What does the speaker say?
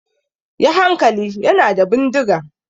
Yi hankali! Yana da bindiga!